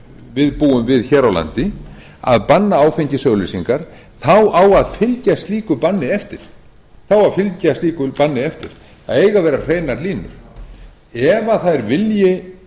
við búum við hér á landi að banna áfengisauglýsingar þá á að fylgja slíku banni eftir þá á að fylgja slíku banni eftir það eiga að vera hreinar línur ef það er